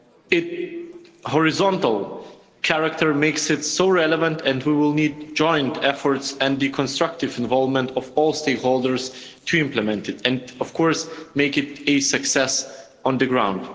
Its horizontal character makes it so relevant, and we will need joint efforts and the constructive involvement of all stakeholders to implement it and make it a success on the ground.